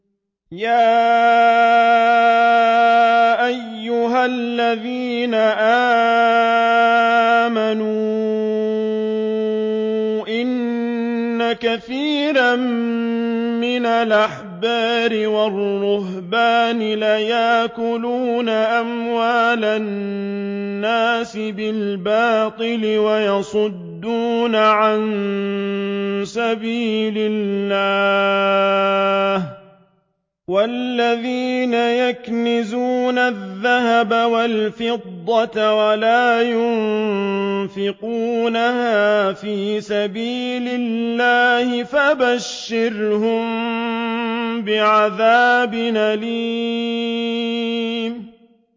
۞ يَا أَيُّهَا الَّذِينَ آمَنُوا إِنَّ كَثِيرًا مِّنَ الْأَحْبَارِ وَالرُّهْبَانِ لَيَأْكُلُونَ أَمْوَالَ النَّاسِ بِالْبَاطِلِ وَيَصُدُّونَ عَن سَبِيلِ اللَّهِ ۗ وَالَّذِينَ يَكْنِزُونَ الذَّهَبَ وَالْفِضَّةَ وَلَا يُنفِقُونَهَا فِي سَبِيلِ اللَّهِ فَبَشِّرْهُم بِعَذَابٍ أَلِيمٍ